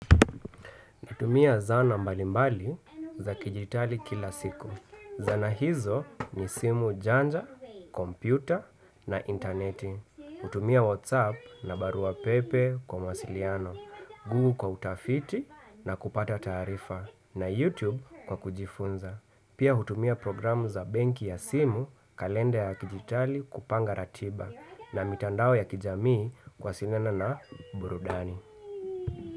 Utumia zana mbali mbali za kijitali kila siku. Zana hizo ni simu janja, kompyuta na intaneti. Utumia whatsapp na barua pepe kwa mawasiliano, google kwa utafiti na kupata tarifa na youtube kwa kujifunza. Pia utumia programu za benki ya simu kalenda ya dijitali kupanga ratiba na mitandao ya kijamii kwa sinema na burudani.